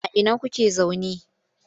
A ina kuke zaune?